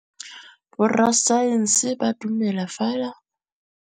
Borra saense ba dumela fela fa ba kgonne go bona poeletsô ya diteko tsa bone.